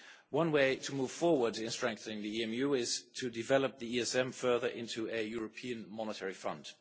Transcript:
One way to move forward in strengthening the EMU is to develop the ESM further into a European Monetary Fund.